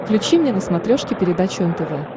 включи мне на смотрешке передачу нтв